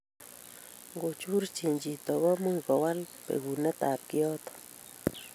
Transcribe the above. ngochurchi chito komuch kowal pekunet ab kiyoto